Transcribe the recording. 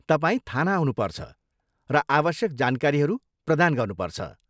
तपाईँ थाना आउनुपर्छ र आवश्यक जानकारीहरू प्रदान गर्नुपर्छ।